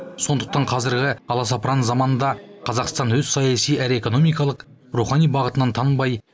сондықтан қазіргі аласапыран заманда қазақстан өз саяси әрі экономикалық рухани бағытынан тыңбай